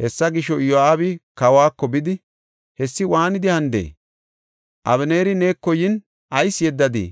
Hessa gisho, Iyo7aabi kawako bidi, “Hessi waanidi hanidee? Abeneeri neeko yin, ayis yeddadii?